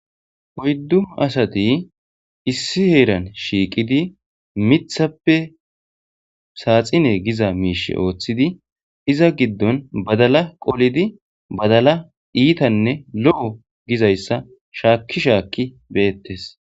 Oydu asati issi heeran shiiqidi mithape saatine giza miisha oothidi iza gidon badala qolidi badala iithane lo'o gizaysa shaaki shaaki deetes.